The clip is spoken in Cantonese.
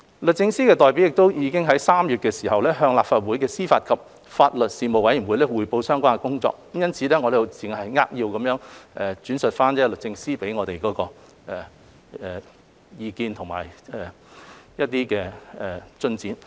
律政司代表亦已在3月向立法會司法及法律事務委員會匯報相關工作，因此，我只會扼要轉述律政司給我們的意見和有關進展。